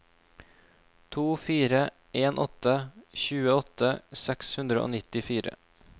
to fire en åtte tjueåtte seks hundre og nittifire